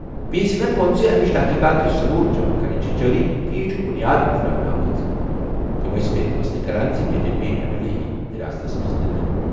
P سنگھن ووٚن۔ امِچ تحقیقات تہٕ ثٔبوٗت جمع کرٕنۍ چھِ جٲری تہٕ یہِ چھِ بُنیاد تراونہٕ آمٕژ۔ تمہٕ ٲسۍ بیٚیہِ فٲصلہٕ کران زِ B J P M L A یِیہِ حراستَس منٛز نِنہٕ۔